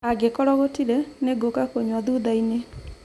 Angĩkorwo gũtirĩ, nĩngũka kũnyua thutha-inĩ